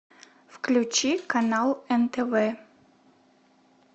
включи канал нтв